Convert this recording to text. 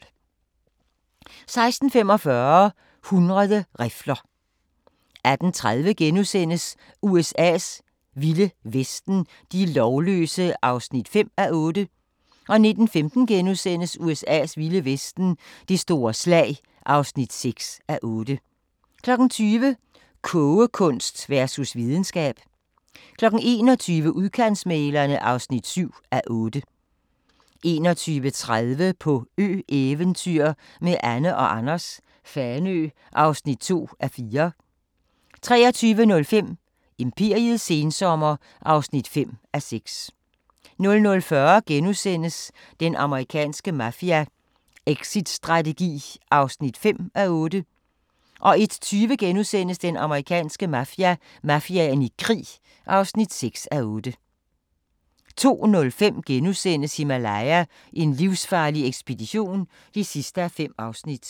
16:45: 100 rifler 18:30: USA's vilde vesten: De lovløse (5:8)* 19:15: USA's vilde vesten: Det store slag (6:8)* 20:00: Kogekunst versus videnskab 21:00: Udkantsmæglerne (7:8) 21:30: På ø-eventyr med Anne & Anders - Fanø (2:4) 23:05: Imperiets sensommer (5:6) 00:40: Den amerikanske mafia: Exitstrategi (5:8)* 01:20: Den amerikanske mafia: Mafiaen i krig (6:8)* 02:05: Himalaya: en livsfarlig ekspedition (5:5)*